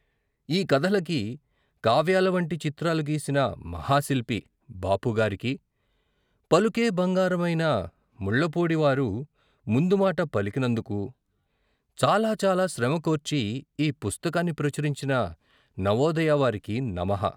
ఈ కథలకి కావ్యాలవంటి చిత్రాలు గీసిన మహాశిల్పి ' బాపు'గారికి, పలుకే బంగారమైన ముళ్ళపూడివారు ముందుమాట పలికినందుకు చాలా చాలా శ్రమకోర్చి ఈ పుస్తకాన్ని ప్రచురించిన నవోదయ వారికి నమః.